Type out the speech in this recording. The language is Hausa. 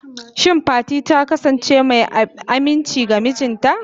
Shin Fati ta kasance mai aminci ga mijinta?